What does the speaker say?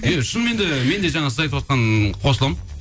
иә шыныменде мен де жаңа сіз айтыватқан қосыламын